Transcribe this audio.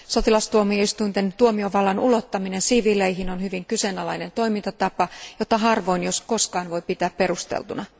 Sotilastuomioistuinten tuomiovallan ulottaminen siviileihin on hyvin kyseenalainen toimintatapa, jota harvoin jos koskaan voi pitää perusteltuna.